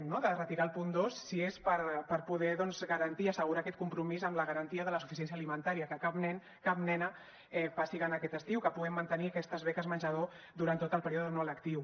no de retirar el punt dos si és per poder garantir i assegurar aquest compromís amb la garantia de la suficiència alimentària que cap nen cap nena passi gana aquest estiu que puguem mantenir aquestes beques menjador durant tot el període no lectiu